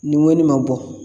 Ni ŋɔni ma bɔ